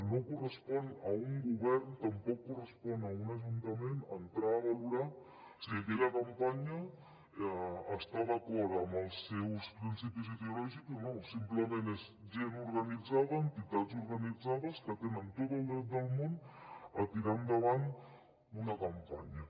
no correspon a un govern tampoc correspon a un ajuntament entrar a valorar si aquella campanya està d’acord amb els seus principis ideològics o no simplement és gent organitzada entitats organitzades que tenen tot el dret del món a tirar endavant una campanya